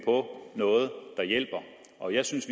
på noget der hjælper og jeg synes